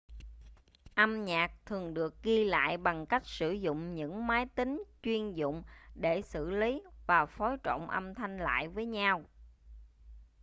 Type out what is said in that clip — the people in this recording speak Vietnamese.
âm nhạc thường được ghi lại bằng cách sử dụng những máy tính chuyên dụng để xử lý và phối trộn âm thanh lại với nhau